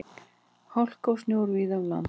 Hálka og snjór víða um land